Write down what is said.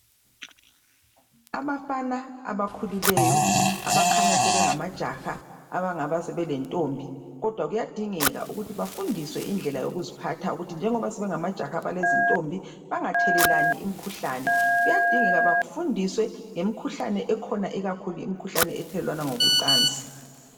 abafana abakhulileyo abakhanya sebengama jaha abangaba sebentombi kodwa kuyadingeka ukuthi bafundiswe indlela yokuziphatha ukuthi njengoba sebengamajaha alezintombi bengathelelani imikhuhlane kuyadingeka bafundiswe ngemikhuhlane ekhona ikakhulu ethelelwana ngocasi